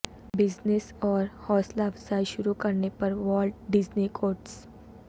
business اور حوصلہ افزائی شروع کرنے پر والٹ ڈزنی کوٹس